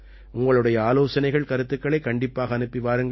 உங்களுடைய ஆலோசனைகள் கருத்துக்களைக் கண்டிப்பாக அனுப்பி வாருங்கள்